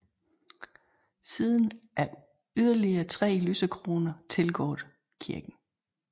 Siden er yderligere tre lysekroner tilgået kirken